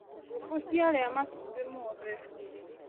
Ngũkũ ciaria matumbĩ mothe.